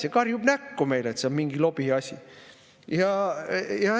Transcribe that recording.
See karjub näkku meile, et see on mingi lobiasi!